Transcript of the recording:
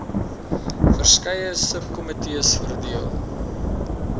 verskeie subkomitees verdeel